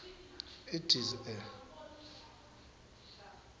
it is a